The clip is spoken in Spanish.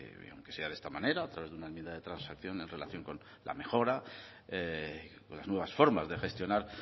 aunque sea de esta manera a través de una enmienda de transacción en relación con la mejora con las nuevas formas de gestionar